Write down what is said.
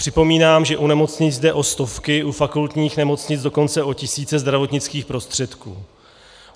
Připomínám, že u nemocnic jde o stovky, u fakultních nemocnic dokonce o tisíce zdravotnických prostředků.